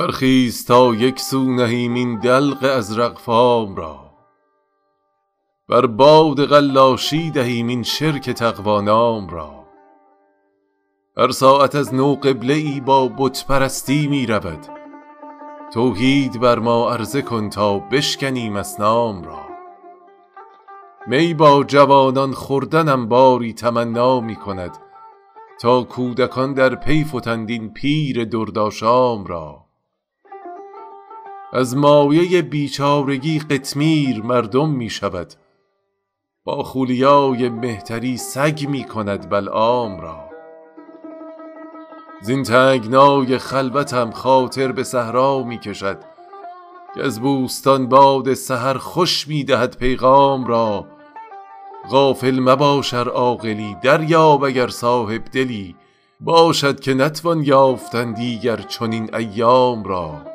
برخیز تا یک سو نهیم این دلق ازرق فام را بر باد قلاشی دهیم این شرک تقوا نام را هر ساعت از نو قبله ای با بت پرستی می رود توحید بر ما عرضه کن تا بشکنیم اصنام را می با جوانان خوردنم باری تمنا می کند تا کودکان در پی فتند این پیر دردآشام را از مایه بیچارگی قطمیر مردم می شود ماخولیای مهتری سگ می کند بلعام را زین تنگنای خلوتم خاطر به صحرا می کشد کز بوستان باد سحر خوش می دهد پیغام را غافل مباش ار عاقلی دریاب اگر صاحب دلی باشد که نتوان یافتن دیگر چنین ایام را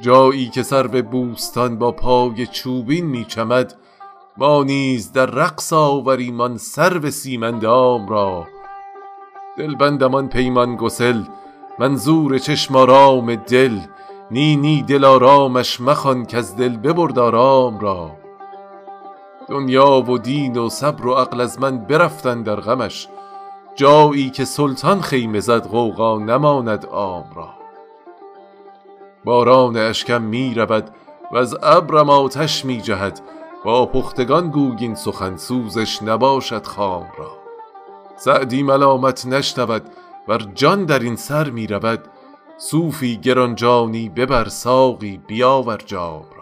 جایی که سرو بوستان با پای چوبین می چمد ما نیز در رقص آوریم آن سرو سیم اندام را دلبندم آن پیمان گسل منظور چشم آرام دل نی نی دلآرامش مخوان کز دل ببرد آرام را دنیا و دین و صبر و عقل از من برفت اندر غمش جایی که سلطان خیمه زد غوغا نماند عام را باران اشکم می رود وز ابرم آتش می جهد با پختگان گوی این سخن سوزش نباشد خام را سعدی ملامت نشنود ور جان در این سر می رود صوفی گران جانی ببر ساقی بیاور جام را